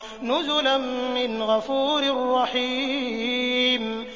نُزُلًا مِّنْ غَفُورٍ رَّحِيمٍ